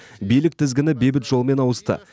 билік тізгіні бейбіт жолмен ауысты